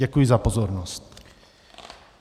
Děkuji za pozornost.